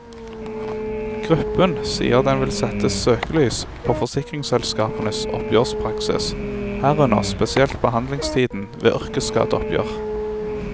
Gruppen sier den vil sette søkelys på forsikringsselskapenes oppgjørspraksis, herunder spesielt behandlingstiden, ved yrkesskadeoppgjør.